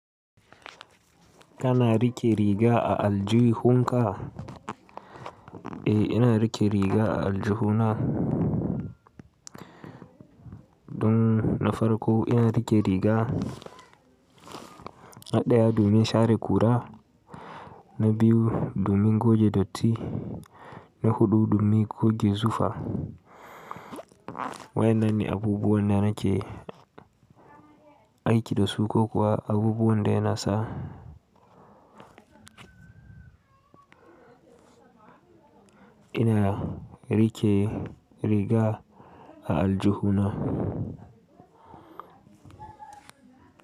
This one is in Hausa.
Ka na rike riga a Aljihuunka? Eh ina rike riga a Aljihuna. Dun na farko ina rike riga a ɗayaa duumin shaare kura, na biyu duumin goje dotti, na huɗu duumin koge zufa. Wa yana ni abubuwan da nake aiki da su ko kuwa abubuwan da yana sa? Ina rike riga a Aljihuna.